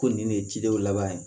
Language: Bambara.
Ko nin de ye cidenw laban ye